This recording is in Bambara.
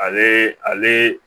Ale ale